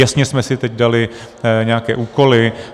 Jasně jsme si teď dali nějaké úkoly.